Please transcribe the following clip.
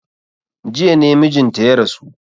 Jiya ne mijinta ya rasu.